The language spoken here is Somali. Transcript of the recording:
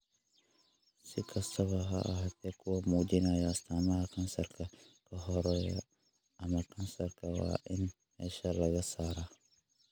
Si kastaba ha ahaatee, kuwa muujinaya astaamaha kansarka ka horreeya ama kansarka waa in meesha laga saaraa.